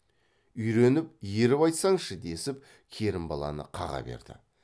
үйреніп еріп айтсаңшы десіп керімбаланы қаға берді